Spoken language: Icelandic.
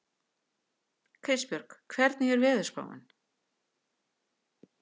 Kristbjörg, hvernig er veðurspáin?